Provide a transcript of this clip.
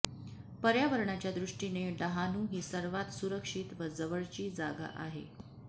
पर्यावरणाच्या दृष्टीने डहाणू ही सर्वात सुरक्षीत व जवळची जागा आहे